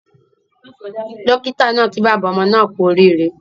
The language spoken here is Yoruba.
Dókítà naa kí bàbá ọmọ naa kú orí ire